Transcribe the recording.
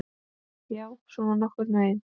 Já, svona nokkurn veginn.